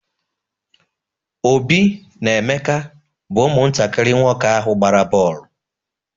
Obi na Emeka bụ ụmụntakiri nwoke ahụ gbara boolu.